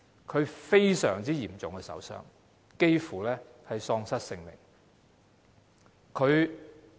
她受了重傷，幾乎喪失性命。